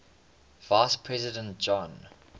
vice president john